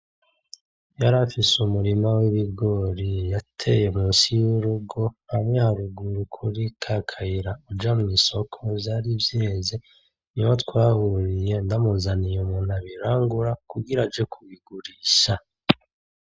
Yarafise umurima w’ibigori yateye musi y’urugo hamwe haruguru kuri ka kayira uja mw’isoko vyari vyeze ,niho twahuriye ndamuzaniye umuntu abirangura kugira aje kubigurisha.